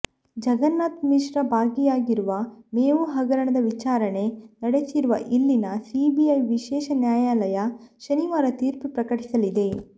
ಜಗನ್ನಾಥ್ ಮಿಶ್ರಾ ಭಾಗಿಯಾಗಿರುವ ಮೇವು ಹಗರಣದ ವಿಚಾರಣೆ ನಡೆಸಿರುವ ಇಲ್ಲಿನ ಸಿಬಿಐ ವಿಶೇಷ ನ್ಯಾಯಾಲಯ ಶನಿವಾರ ತೀರ್ಪು ಪ್ರಕಟಿಸಲಿದೆ